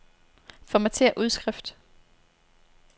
Formatér udskrift.